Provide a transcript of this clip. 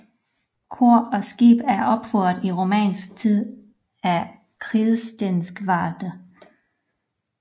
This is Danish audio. Kor og skib er opført i romansk tid af kridstenskvadre